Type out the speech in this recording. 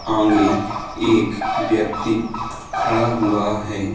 आंगे एक व्यक्ति खड़ा हुआ हैं।